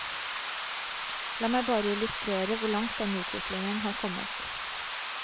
La meg bare illustrere hvor langt denne utviklingen har kommet.